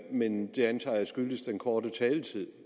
men det antager jeg skyldtes den korte taletid